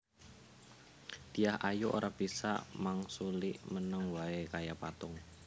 Dyah Ayu ora bisa mangsuli meneng wae kaya patung